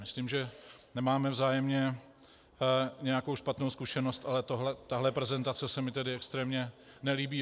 Myslím, že nemáme vzájemně nějakou špatnou zkušenost, ale tahle prezentace se mi tedy extrémně nelíbí.